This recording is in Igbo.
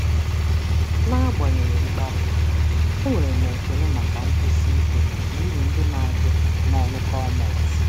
N'agbanyeghị mkparị, enwere m ekele maka nkwụsi ike na uru ndị na-abịa na ọrụ gọọmentị.